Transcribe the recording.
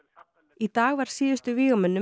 í dag var síðustu